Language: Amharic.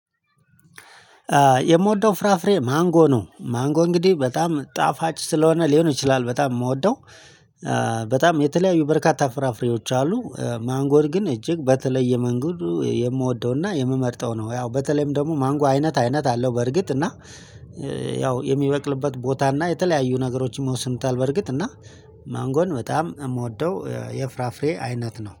የምወደው ፍራፍሬ ማንጎ ነው። ማንጎ እንግዲህ በጣም ጣፋጭ ስለሆነ ሊሆን ይችላል በጣም የምወደው። በጣም የተለያዩ በርካታ ፍራፍሬዎች አሉ። ማንጎን ግን እጅግ በተለየ መንገዱ የምወደውና የምመርጠው ነው። ያው በተለይም ደግሞ ማንጎ አይነት አይነት አለው በርግጥ እና ያው የሚበቅልበት ቦታ እና የተለያዩ ነገሮችንም ይወስኑታል። በርግጥ እና ማንጎን በጣም የምወደው የፍራፍሬ አይነት ነው